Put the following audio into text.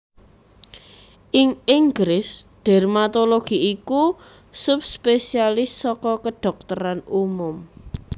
Ing Inggris dermatologi iku subspesialis saka kedhokteran umum